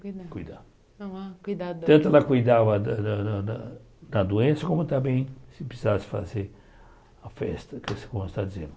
Tanto ela cuidava da da da doença, como também se precisasse fazer festa, como você está dizendo.